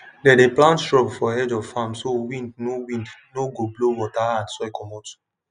dem dey plant shrub for edge of farm so wind no wind no go blow water and soil comot